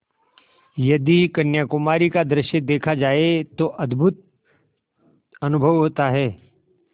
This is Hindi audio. यदि कन्याकुमारी का दृश्य देखा जाए तो अद्भुत अनुभव होता है